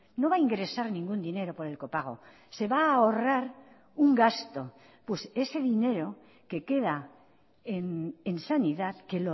no va a ingresar ningún dinero por el copago se va a ahorrar un gasto pues ese dinero que queda en sanidad que